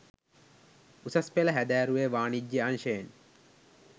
උසස් පෙළ හැදෑරුවේ වානිජ්‍ය අංශ්‍ය යෙන්